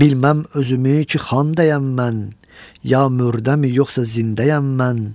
Bilmməm özümü ki, xəndəyəm mən, ya mürdəmi, yoxsa zindəyəm mən?